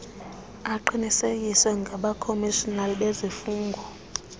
aqinisekiswe ngabakhomishinala bezifungo